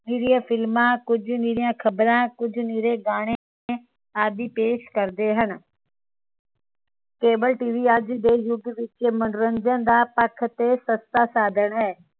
ਨਿਰੀਏ film ਕੁਝ ਨਿਰੀਆਂ ਖ਼ਬਰਾਂ ਕੁਝ ਨਿਰੇ ਗਾਣੇ ਆਦਿ ਪੇਸ਼ ਕਰਦੇ ਹਨ cableTV ਅੱਜ ਦੇ ਯੁਗ ਵਿਚ ਮਨੋਰੰਜਨ ਦਾ ਪੱਖ ਤੇ ਸਸਤਾ ਸਾਧਣ ਹੈ